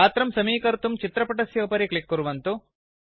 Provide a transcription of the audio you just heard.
गात्रं समीकर्तुं चित्रपटस्य उपरि क्लिक् कुर्वन्तु